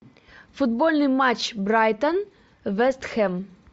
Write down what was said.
футбольный матч брайтон вест хэм